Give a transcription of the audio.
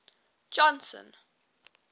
johnson